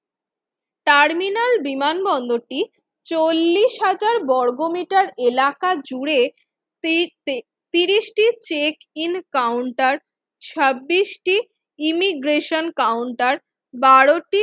terminal বিমানবন্দরটি চল্লিশ হাজার বর্গমিটার এলাকার জুড়ে ত্রিশটি চেক ইন কাউন্টার ছাব্বিশ টি ইমিগ্রেশন কাউন্টার বারো টি